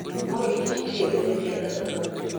Mor kich tiyo go e thiedho adhola.